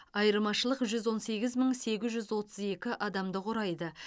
айырмашылық жүз он сегіз мың сегіз жүз отыз екі адамды құрайды